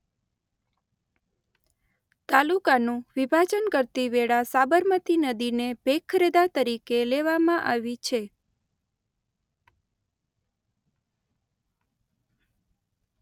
તાલુકાનું વિભાજન કરતી વેળા સાબરમતી નદીને ભેદરેખા તરીકે લેવામાં આવી છે.